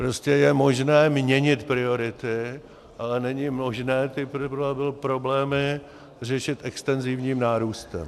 Prostě je možné měnit priority, ale není možné ty problémy řešit extenzivním nárůstem.